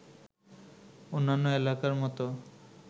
অন্যান্য এলাকার মতো